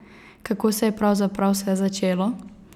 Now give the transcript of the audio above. Kako se je pravzaprav vse začelo?